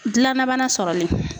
Gilalabana sɔrɔlen.